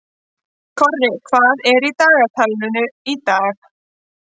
Korri, hvað er í dagatalinu í dag?